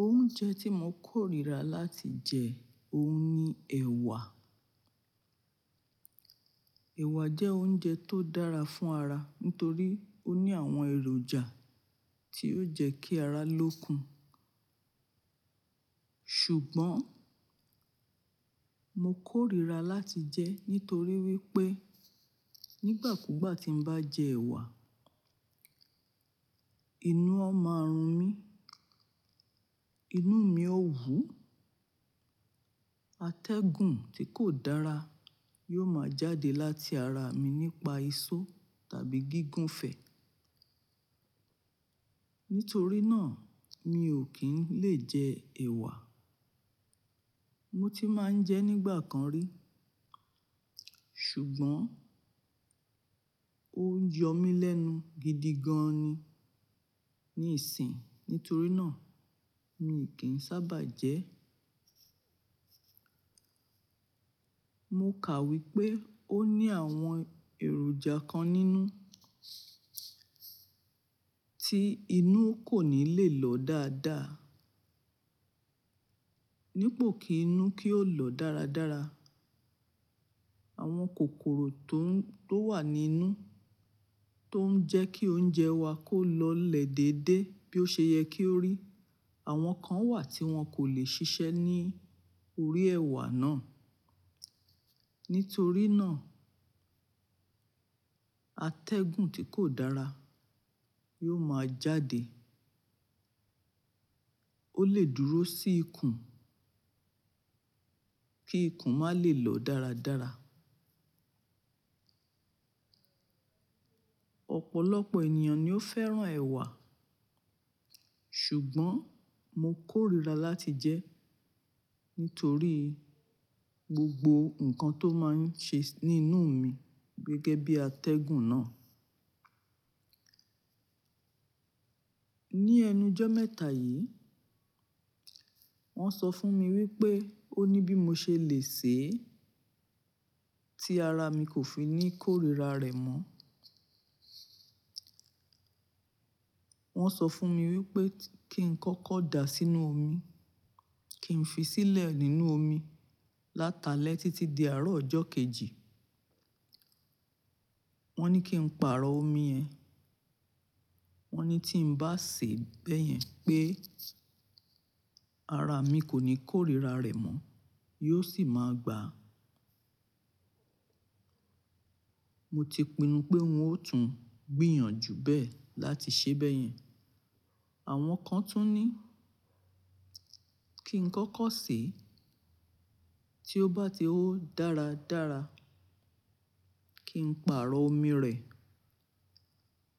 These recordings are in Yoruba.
Oúnjẹ tí mo kórìíra láti jẹ, òun ni ẹ̀wà. Ẹ̀wà jẹ́ oúnjẹ tó dára fún ara nítorí ó ní àwọn èròjà tí yóò jẹ́ kí ara lókun. Ṣùgbọ́n, mo kórìíra láti jẹ́ nítorí wípé nígbà kúgbà tí n bá jẹ ẹ̀wà, inú ọ mọ a run mí, inú mi ó wú, atẹ́gùn tí kò dára yóò máa jáde láti ara mi nípa isọ̀ tàbí gígùn fẹ̀. Nítorí náà, mi ò kí ń lè jẹ ẹ̀wà. Mo ti máa ń jẹ nígbà kan rí, ṣùgbọ́n ó ń yọ mí lẹ́nu gidi gan ni ní ìsìn. Nítorí náà, mi ò kí ń sábà jẹ ẹ́. Mo kàwé pé ó ní àwọn èròjà kan nínú tí inú kò ní le lọ dáadáa. Nípò kí inú kí ó lọ dáradára. Àwọn kòkòrò tó ń-- tó wà nínú tó ń jẹ́ kí oúnjẹ wa kó lọ lè dédé bí ó ṣe yẹ kí ó rí. Àwọn kan wà tí wọn kò lè ṣiṣẹ́ ní orí ẹ̀wà náà. Nítorí náà, atẹ́gùn tí kò dára yóò máa jáde. Ó lè dúró sí ikùn kí ikùn má lè lọ dáradára. Ọ̀pọ̀lọpọ̀ ènìyàn ni ó fẹ́ràn ẹ̀wà, ṣùgbọ́n mo kórìíra láti jẹ ẹ́ nítorí gbogbo nǹkan tó máa ń ṣe ní inú mi gẹ́gẹ́ bí atẹ́gùn náà. Ni ẹnu jọ́ mẹ́ta yìí, wọ́n sọ fún mi wípé ó ní bí mo ṣe lè sè é tí ara mi kò fi ní kórìíra rẹ̀ mọ́. Wọ́n sọ fún mi wípé kí n kọ́kọ́ dà sínú omi, kí n fi sílẹ̀ nínú omi látalẹ́ títí di àárọ̀ ọjọ́ kejì. Wọ́n ní kí n pààrọ̀ omi yẹn. Wọ́n ní tí n bá ṣe bẹ́yẹn pé ara mi kò ní kórìíra rẹ̀ mọ́, yóò sì máa gbà. Mo ti pinnu pé n ó tún gbìyànjú bẹ́ẹ̀ láti ṣe bẹ́yẹn. Àwọn kan tún ní kí n kọ́kọ́ sè é, tí ó bá ti ó dáradára kí n pààrọ̀ omi rẹ̀.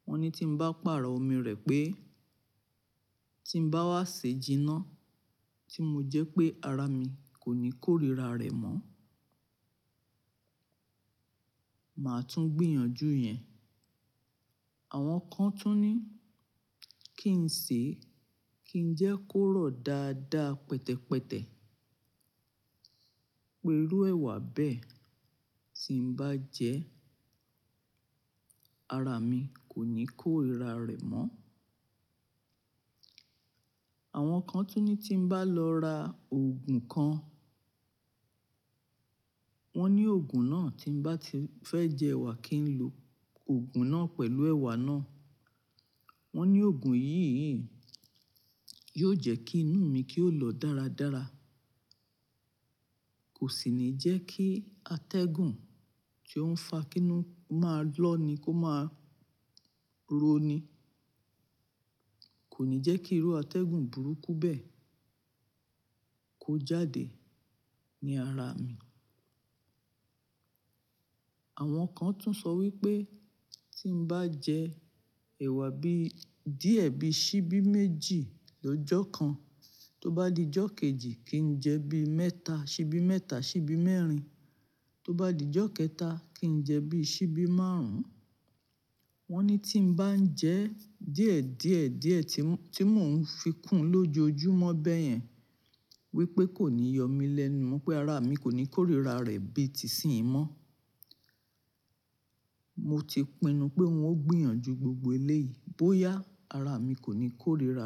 Wọ́n ní tí n bá pààrọ̀ omi rẹ̀ pé tí n bá wá ṣe jìnà tí mo jẹ́ pé ara mi kò ní kórìíra rẹ̀ mọ́, màá tún gbìyànjú yẹn. Àwọn kan tún ní kí n sè é, kí ń jẹ́ kó rọ̀ dáadáa pẹtẹpẹtẹ. Pé irú ẹ̀wà bẹ́ẹ̀ tí n bá jẹ ẹ́, ara mi kò ní kórira rẹ̀ mọ́. Àwọn kan tún ní tí n bá lọ ra òògùn kan, wọ́n ní òògùn náà tí n bá ti fẹ́ jẹ ẹ̀wà kí n lo òògùn náà pẹ̀lú ẹ̀wà náà. Wọ́n ní òògùn yìí, yìí yóò jẹ́ kí inú mi kí ó lọ dáradára. Kò sì ní jẹ́ kí atẹ́gùn tí ó ń fa kínú máa lọ ni kó máa roni. Kò ní jẹ́ kí irú atẹ́gùn burúkú bẹ́ẹ̀ kó jáde ní ara mi. Àwọn kan tún sọ wípé tí n bá jẹ ẹ̀wà bí díẹ̀ bí síbí méjì lójo kan, tó bá di ọjọ́ kejì kí n jẹ bí mẹ́ta, síbí mẹ́ta, síbí mẹ́rin. Tó bá dijọ́ kẹta kí n jẹ bí síbí márùn-ún. Wọ́n ní tí n bá ń jẹ díẹ̀, díẹ̀, díẹ̀ tí ń, tí mò ń fi kún lójojúmọ́ bẹ́yẹn wípé kò ní yọ mí lẹ́nu mọ́ pé ara mi kò ní kórira rẹ̀ bíi tìsí ì mọ́. Mo ti pinnu pé ń ó gbìyànjú gbogbo elé yìí bóyá ara mi kò ní kórira.